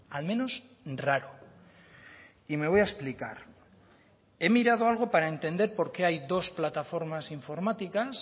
al menos raro y me voy a explicar he mirado algo para entender por qué hay dos plataformas informáticas